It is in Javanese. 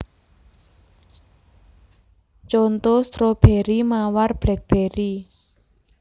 Conto stroberi mawar blackberry